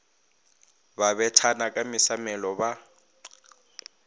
ba bethana ka mesamelo ba